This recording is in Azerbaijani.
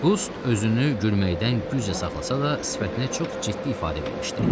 Qust özünü gülməkdən güclə saxlasa da, sifətinə çox ciddi ifadə vermişdi.